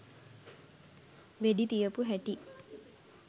වෙඩි තියපු හැටි